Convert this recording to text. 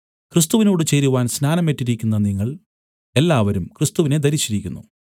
ക്രിസ്തുവിനോട് ചേരുവാൻ സ്നാനം ഏറ്റിരിക്കുന്ന നിങ്ങൾ എല്ലാവരും ക്രിസ്തുവിനെ ധരിച്ചിരിക്കുന്നു